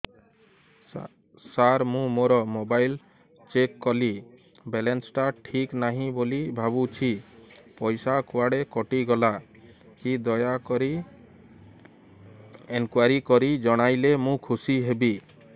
ସାର ମୁଁ ମୋର mobile check କଲି ବାଲାନ୍ସ ଟା ଠିକ ନାହିଁ ବୋଲି ଭାବୁଛି ପଇସା କୁଆଡେ କଟି ଗଲା କି ଦୟାକରି ଇନକ୍ୱାରି କରି ଜଣାଇଲେ ମୁଁ ଖୁସି ହେବି